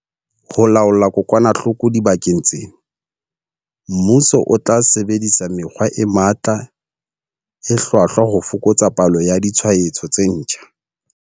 Ho laola kokwanahloko dibakeng tsena, mmuso o tla sebedisa mekgwa e matla e hlwahlwa ho fokotsa palo ya ditshwaetso tse ntjha.